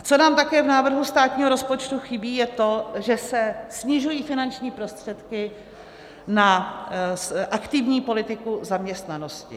A co nám také v návrhu státního rozpočtu chybí, je to, že se snižují finanční prostředky na aktivní politiku zaměstnanosti.